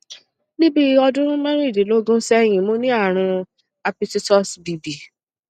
ni bi odun merindinlogun sehin mo ni arun hapititus b b